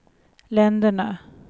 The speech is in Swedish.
länderna